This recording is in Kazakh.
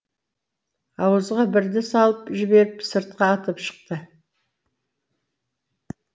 ауызға бірді салып жіберіп сыртқа атып шықты